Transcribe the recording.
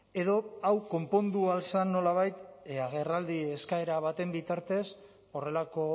edo hau konpondu ahal zen nolabait agerraldi eskaera baten bitartez horrelako